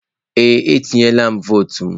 Ee, atunyela m vọọtụ m.